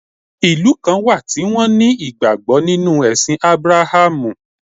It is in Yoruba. Ìlú kan wà tí won ní ìgbàgbó nínú èsìn Abrahamu